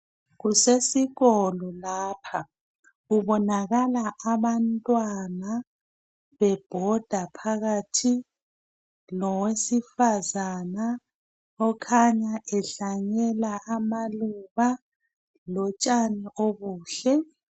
Kusesikolo lapha kubonakala abantwana bebhoda phakathi lowesifazana okhanya ehlanyela amaluba lotshani obuhle.